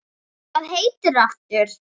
Hvað heitir þú aftur?